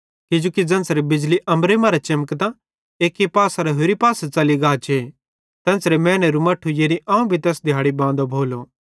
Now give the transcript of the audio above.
किजोकि ज़ेन्च़रे बिजली अम्बरे मरां चेमकतां एक्की पासेरां होरि पासे च़ली गाचे तेन्च़रे मैनेरू मट्ठू यानी अवं तैस दिहैड़ी बांदो भोलो